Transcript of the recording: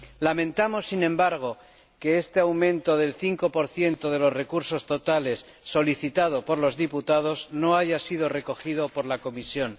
Lamentamos, sin embargo, que este aumento del 5 de los recursos totales solicitado por los diputados no haya sido recogido por la Comisión.